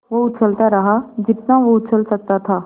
वो उछलता रहा जितना वो उछल सकता था